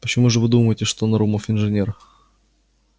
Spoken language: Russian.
почему же вы думаете что нарумов инженер